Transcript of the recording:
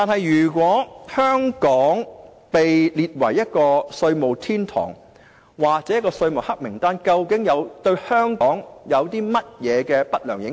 如果香港被列為避稅天堂或被列入稅務黑名單，對香港有何不良影響？